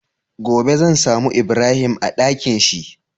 Gobe zan samu ibrahim a Ɗakinshi?